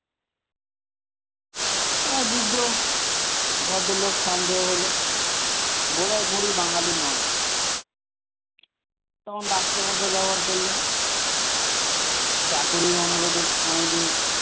আর বৃদ্ধ ভদ্রলোক সন্দেহ হলো বোধহয় বুড়ি বাঙালি নয় তখন রাষ্ট্রভাষা ব্যবহার করলেন চাকরির অনুরোধে অনেকদিন,